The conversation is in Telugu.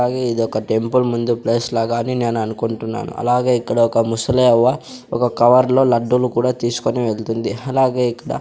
అలాగే ఇదొక టెంపుల్ ముందు ప్లేస్ లాగానే నేను అనుకుంటున్నాను అలాగే ఇక్కడ ఒక ముసలివ్వ ఒక కవర్ లో లడ్డూలు కూడా తీసుకొని వెళ్తుంది అలాగే ఇక్కడ.